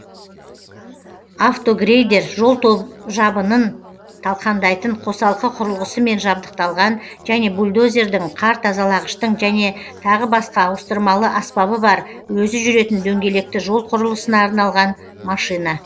автогрейдер жол жабынын талқандайтын қосалқы құрылғысымен жабдықталған және бульдозердің қар тазалағыштың және тағы басқа ауыстырмалы аспабы бар өзі жүретін дөңгелекті жол құрылысына арналған машина